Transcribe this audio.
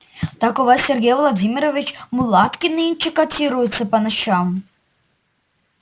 так у вас сергей владимирович мулатки нынче котируются по ночам